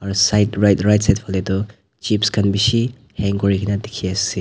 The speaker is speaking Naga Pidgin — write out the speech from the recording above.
side right right side falae tho chips kan bishi hang kuri kina tiki ase.